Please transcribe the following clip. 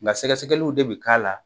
Nka sɛgɛsɛgɛliw de bi k'a la .